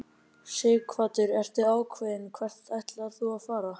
Sighvatur: Ertu ákveðinn hvert þú ætlar að fara?